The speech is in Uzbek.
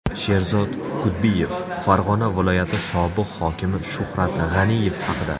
Sherzod Kudbiyev Farg‘ona viloyati sobiq hokimi Shuhrat G‘aniyev haqida.